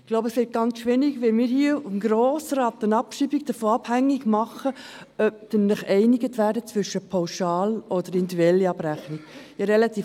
Ich glaube, es wird ganz schwierig, wenn wir hier im Grossen Rat eine Abschreibung davon abhängig machen, ob wir uns zwischen einer pauschalen oder einer individuellen Abrechnung einigen können.